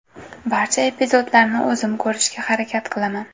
Barcha epizodlarni o‘zim ko‘rishga harakat qilaman.